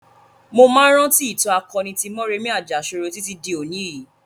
Mo máa ń rántí ìtàn akoni tí Mọ́remí Àjàṣorò títí di òní yìí.